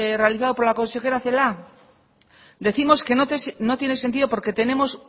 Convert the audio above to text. realizado por la consejera celaá decimos que no tiene sentido porque tenemos